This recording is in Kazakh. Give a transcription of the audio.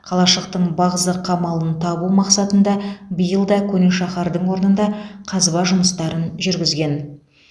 қалашықтың бағзы қамалын табу мақсатында биыл да көне шаһардың орнында қазба жұмыстарын жүргізген